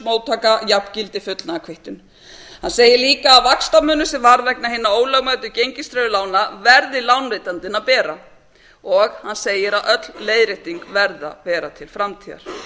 móttaka jafngildi fullnaðarkvittun hann segir líka að vaxtamunur sem varð vegna hinna ólögmætu gengistryggðu lána verði lánveitandinn að bera og hann segir að öll leiðrétting verði að vera til framtíðar